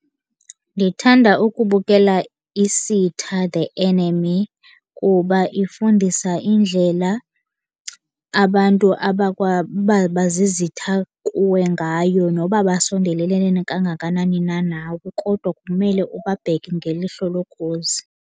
Ndithanda ukubukela Isitha The Enemy. Kuba ifundisa indlela abantu abakwababazizitha kuwe ngayo noba basondelelenene kangakanani na nawe, kodwa kumele ubabheke ngelihlo lokhozi.